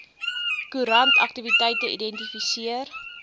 koerant aktiwiteite identifiseer